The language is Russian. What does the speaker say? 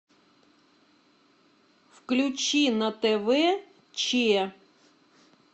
включи на тв че